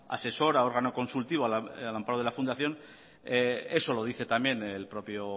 asesora órgano consultiva al amparo de la fundación eso